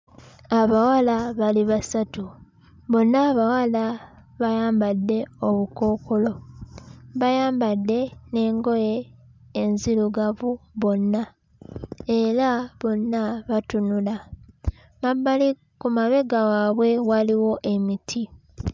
Abawala bali basatu bonna abawala bayambadde obukookolo bayambadde n'engoye enzirugavu bonna era bonna batunula mabbali ku mabega waabwe waliwo emiti.